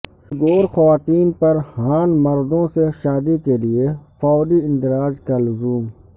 Uyghur خواتین پر Han مردوں سے شادی کیلئے فوری اندراج کا لزوم